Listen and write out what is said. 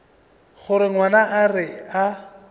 gore ngwana a re a